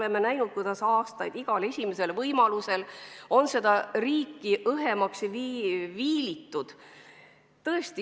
Me oleme aastaid näinud, kuidas igal võimalusel on riiki õhemaks viilitud.